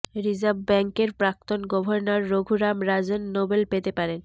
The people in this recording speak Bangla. রিজার্ভ ব্যাঙ্কের প্রাক্তন গর্ভনর রঘুরাম রাজন নোবেল পেতে পারেন